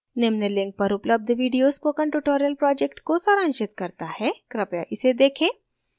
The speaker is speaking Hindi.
निम्न link पर उपलब्ध video spoken tutorial project को सारांशित करता है कृपया इसे देखें